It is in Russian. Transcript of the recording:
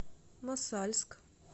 мосальск